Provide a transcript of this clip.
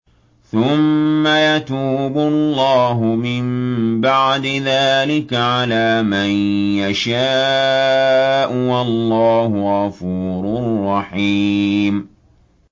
ثُمَّ يَتُوبُ اللَّهُ مِن بَعْدِ ذَٰلِكَ عَلَىٰ مَن يَشَاءُ ۗ وَاللَّهُ غَفُورٌ رَّحِيمٌ